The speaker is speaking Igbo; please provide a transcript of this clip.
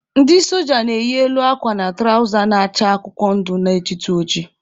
Ndị soja na-eyi elu akwa na tụrawza na-acha akwụkwọ ndụ na-ejitu oji.